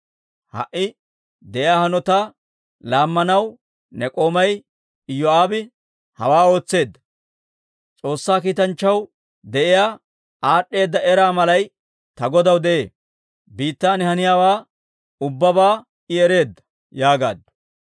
Ha"i de'iyaa hanotaa laammanaw ne k'oomay Iyoo'aabe hawaa ootseedda. S'oossaa kiitanchchaw de'iyaa aad'd'eeda eraa malay ta godaw de'ee; biittan haniyaawaa ubbabaa I ereedda» yaagaaddu.